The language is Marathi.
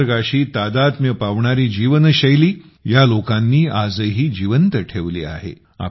निसर्गाशी तादात्म्य पावणारी जीवनशैली या लोकांनी आजही जिवंत ठेवली आहे